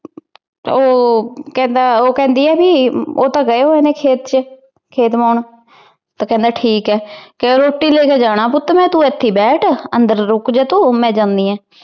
ਤੇ ਉਹ ਕਹਿੰਦਾ ਉਹ ਕਹਿੰਦੀ ਐ ਵੀ ਉਹ ਤਾਂ ਗਏ ਹੋਏ ਨੇ ਖੇਤ ਚ, ਖੇਤ ਬਾਹੁਣ। ਤੇ ਕਹਿੰਦਾ ਠੀਕ ਹੈ। ਕਹੇ ਰੋਟੀ ਲੈਕੇ ਜਾਣਾ ਪੁੱਤ ਮੈਂ। ਤੂੰ ਇਥੇ ਬੈਠ, ਅੰਦਰ। ਰੁੱਕ ਜਾ ਤੂੰ ਮੈ ਜਾਂਦੀ ਆ।